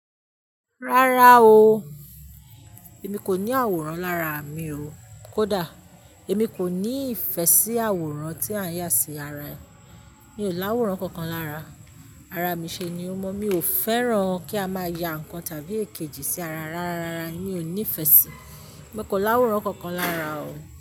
Rárá o, èmi kò ní àwòrán lára mi o. Kódà, èmi kò ní ìfẹ́ sí àwòrán tí à ń yà sí ara ẹni. Mi ò láwòrán kankan lára, ara mi ṣe ni ó mọ́. Mi ò fẹ́ràn kí a máa ya ǹkan tàbí èkejì sí ara rárá, mi ò nífẹ̀ẹ́ sí. Mo kò láwòrán kankan lára o.